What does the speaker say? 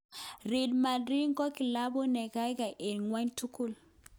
"Real Madrid ko kilabut nekaikai eng ngwony tugul..